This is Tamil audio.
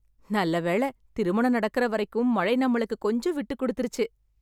நல்லவேளை, திருமணம் நடக்கிற வரைக்கும் மழை நம்மளுக்கு கொஞ்சம் விட்டுக் கொடுத்திருச்சு.